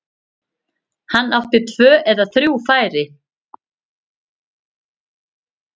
Hann átti tvö eða þrjú færi.